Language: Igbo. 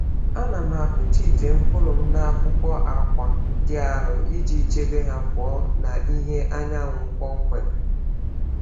Ana m akpuchi ite mkpụrụ m n’akpụkpọ akwa dị arọ iji chebe ha pụọ na ìhè anyanwụ kpọmkwem.